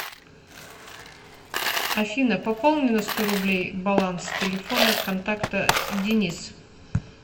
афина пополни на сто рублей баланс телефона контакта денис